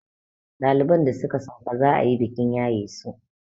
ɗaliban da suka sauka za a yi bikin yaye su